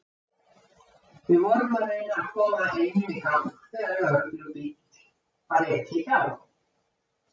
Við vorum að reyna að koma einum í gang þegar lögreglubíl var ekið hjá.